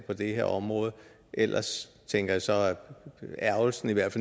det her område ellers tænker jeg så er ærgrelsen i hvert